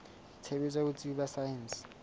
tshebetso ya botsebi ba saense